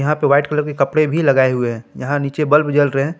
यहां पे white colour के कपड़े भी लगाए हुए हैं यहां नीचे बल्ब जल रहे हैं।